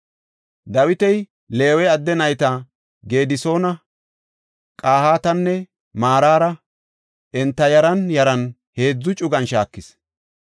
Dawiti Leewe adde nayta Gedisoona, Qahaatanne Maraara enta yaran yaran heedzu cugan shaakis.